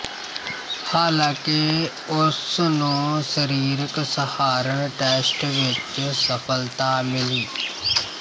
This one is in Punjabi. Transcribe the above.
ਹਾਲਾਂਕਿ ਉਸ ਨੂੰ ਸਰੀਰਕ ਸਹਾਰਨ ਟੈਸਟ ਵਿੱਚ ਸਫ਼ਲਤਾ ਮਿਲੀ